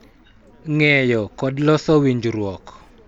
Ng�eyo, kod loso winjruok.